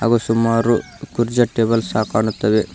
ಗು ಸುಮಾರು ಕುರ್ಜೆ ಟೇಬಲ್ ಸಾ ಕಾಣುತ್ತೆವೆ.